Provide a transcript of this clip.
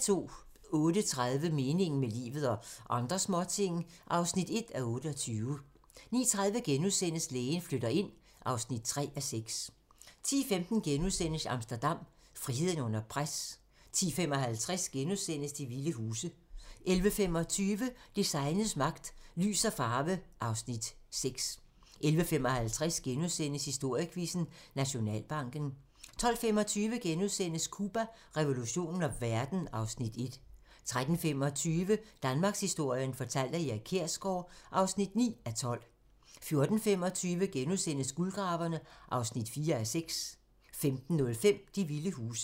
08:30: Meningen med livet – og andre småting (1:28) 09:30: Lægen flytter ind (3:6)* 10:15: Amsterdam - friheden under pres * 10:55: De vilde huse * 11:25: Designets magt - Lys og farve (Afs. 6) 11:55: Historiequizzen: Nationalbanken * 12:25: Cuba, revolutionen og verden (Afs. 1)* 13:25: Danmarkshistorien fortalt af Erik Kjersgaard (9:12) 14:25: Guldgraverne (4:6)* 15:05: De vilde huse